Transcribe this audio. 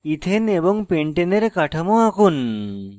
ethane ethane এবং pentane pentane এর কাঠামো আঁকুন